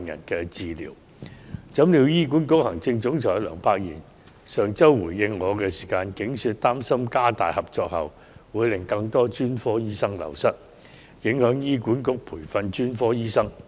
豈料，醫管局行政總裁梁柏賢在上周回應我時，竟說擔心加強合作後，會令更多專科醫生流失，因而影響醫管局培訓專科醫生。